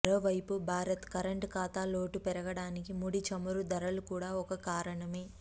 మరోవైపు భారత్ కరంట్ ఖాతా లోటు పెరుగడానికి ముడి చమురు ధరలు కూడా ఒక కారణమే